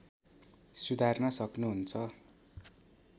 सुधार्न सक्नुहुन्छ